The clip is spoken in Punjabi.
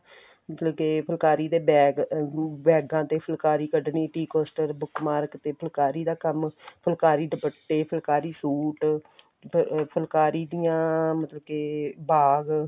ਮਤਲਬ ਕੀ ਫੁੱਲਕਾਰੀ ਦੇ bag ਬੈਗਾਂ ਦੇ ਤੇ ਫੁੱਲਕਾਰੀ ਕਢਨੀ tea coaster bookmark ਤੇ ਫੁੱਲਕਾਰੀ ਦਾ ਕੰਮ ਫੁੱਲਕਾਰੀ ਦੁਪੱਟੇ ਫੁੱਲਕਾਰੀ ਸੂਟ ਤੇ ਫੁੱਲਕਾਰੀ ਦੀਆਂ ਮਤਲਬ ਕੇ ਬਾਗ